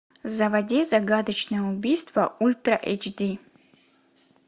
заводи загадочное убийство ультра эйч ди